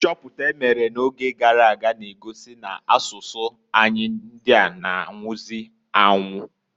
Nchọpụta emere na oge garaga na-egosi n' asụsụ anyi ndịa na -anwụzị anwu.